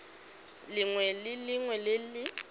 lengwe le lengwe le le